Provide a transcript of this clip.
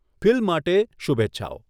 Film માટે શુભેચ્છાઓ.